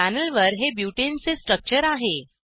पॅनेलवर हे butaneब्यूटेन चे स्ट्रक्चर आहे